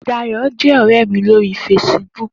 Dayo jè òrè mi lóri fésibùk